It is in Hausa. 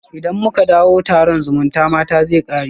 Idan muka dawo, taron zumutamata zai kare